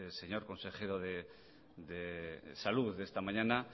señor consejero de salud de esta mañana